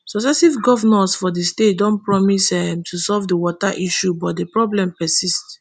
successive govnors for di state don promise um to solve di water issue but di problem persists